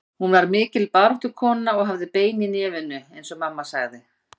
Hún var mikil baráttukona og hafði bein í nefinu eins og mamma sagði.